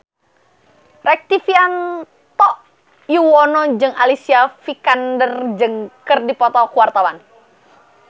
Rektivianto Yoewono jeung Alicia Vikander keur dipoto ku wartawan